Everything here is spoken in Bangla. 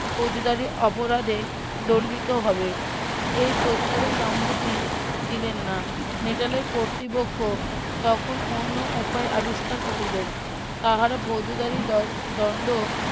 ফৌজদারি অপরাধে দন্ডিত হবে এই প্রস্তাবে সম্মতি দিলেন না নেটালের কর্তৃপক্ষ তখন অন্য উপায় আবিস্কার করিলেন তাহারা ফৌজদারি ~ দণ্ড